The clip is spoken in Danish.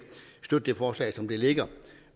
støtte det forslag som det ligger